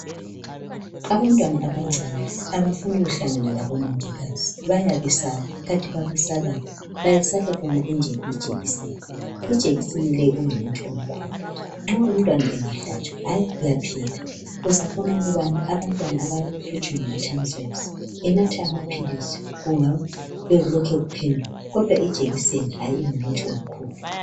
Abantwana abancane abafuni kuhlangana labo mongikazi bayabesaba. Kanti babesabani ?Bayesaba yona ijekiseni . Ijekiseni le ingumuthi omkhulu nxa umntwana engahlatshwa hay uyaphila. Uzabona ukubana abantwana abahlutshwa ngama tonsils enatha amaphilisi kungabe kulokhe kuphenduka kodwa ijekiseni hay ingumuthi omkhulu .